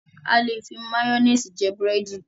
A le fi máyónìsì jẹ búrẹ́dì.